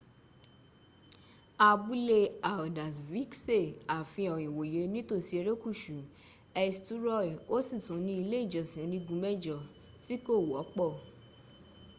abúlé haldarsvikṣe àfihàn ìwòye nítòsí erékùsù eysturoy o sì tún ní ilé ìjọsìn onígun mẹjọ tí kò̀ wọ́pọ̀